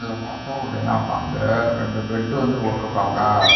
இதுல பாத்தோ அப்படினா பந்து ரெண்டு பெட்டு வந்து போட்ருக்காங்க.